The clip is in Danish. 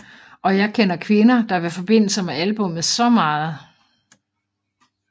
Og jeg kender kvinder er vil forbinde sig med albummet så meget